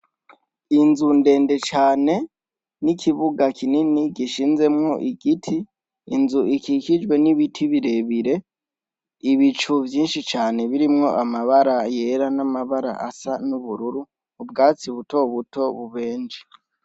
Inzu ndende cane, n’ikibuga kinini gishinzemwo igiti, inzu ikikijwe n’ibiti birebire, ibicu vyinshi cane birimwo amabara yera n’amabara asa n’ubururu, ubwatsi buto buto bubenje.